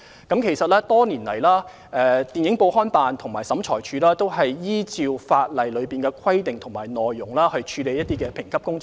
多年來，電影、報刊及物品管理辦事處和審裁處均按照《條例》的規定和條文處理評級工作。